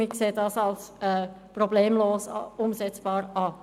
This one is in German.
Wir halten diesen für problemlos umsetzbar.